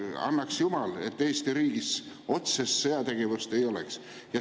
Annaks jumal, et Eesti riigis otsest sõjategevust ei oleks.